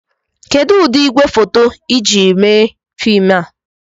Kedu ụdị igwefoto ị jiri mee fim a?